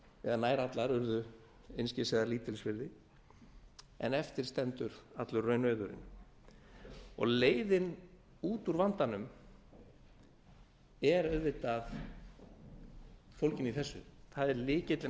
eða nær allar urðu einskis eða lítils virði en eftir stendur allur raunauðurinn leiðin út úr vandanum er auðvitað fólgin í þessu það er lykillinn